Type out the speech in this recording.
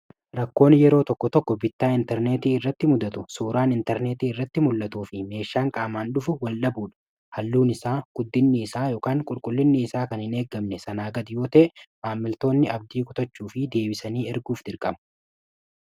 rakkoon yeroo tokko tokko bittaa intarneetii irratti muddatu suuraan intarneetii irratti mul'atu fi meeshaan qaamaan dhufu wal'a buudha halluun isaa guddinni isaa qulqullinni isaa kan hin eeggamne sanaa gadi yoote maammiltoonni abdii kotachuu fi deebisanii erguuf dirqamu